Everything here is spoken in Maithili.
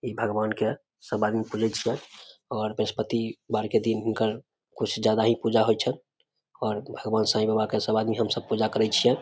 इ भगवान के सब आदमी पूजे छीये और बृहस्पति वार के दिन हिनकर बहुत ज्यादा ही पूजा होय छै और भगवान साइ बाबा के सब आदमी हम सब पूजा करे छीये।